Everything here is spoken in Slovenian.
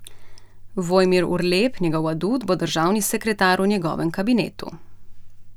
Vojmir Urlep, njegov adut, bo državni sekretar v njegovem kabinetu.